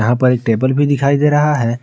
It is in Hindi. यहां पर एक टेबल भी दिखाई दे रहा है।